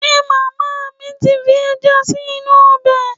Ṣe màmá mi ti fi ẹja sí inú ọbẹ̀?